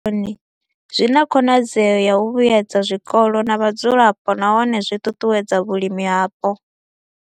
I bveledzwaho henefho vhuponi zwi na khonadzeo ya u vhuedza zwikolo na vhadzulapo nahone zwi ṱuṱuwedza vhulimi hapo.